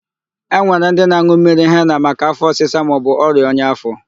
E nwere ndị na-an̄ụ mmiri hena maka áfọ̀ ọsịsa maọbụ ọrịa ọnya áfọ̀.